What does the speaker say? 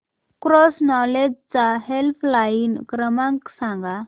cross knowledge चा helpline क्रमांक सांगा